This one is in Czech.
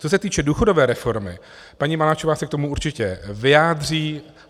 Co se týče důchodové reformy, paní Maláčová se k tomu určitě vyjádří.